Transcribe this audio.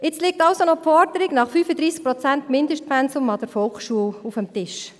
Jetzt liegt also noch die Forderung nach einem 35-Prozent-Mindestpensum an der Volksschule auf dem Tisch.